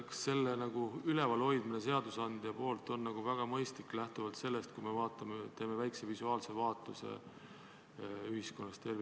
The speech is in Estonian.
Aga kas selle kehtivana hoidmine on seadusandjast väga mõistlik, lähtudes sellest, kui teeme ühiskonnas tervikuna väikese visuaalse vaatluse?